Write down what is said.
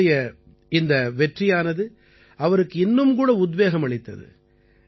அவருடைய இந்த வெற்றியானது அவருக்கு இன்னும் கூட உத்வேகம் அளித்தது